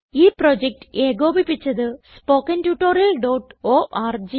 ഈ പ്രോജക്റ്റ് ഏകോപിപ്പിച്ചത് httpspoken tutorialorg